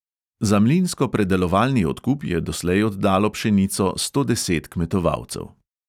Za mlinsko predelovalni odkup je doslej oddalo pšenico sto deset kmetovalcev.